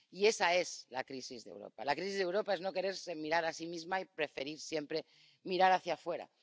Y esa es la crisis de Europa. La crisis de Europa es no quererse mirar a sí misma y preferir siempre mirar hacia afuera.